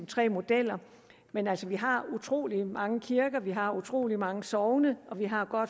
tre modeller men altså vi har utrolig mange kirker vi har utrolig mange sogne og vi har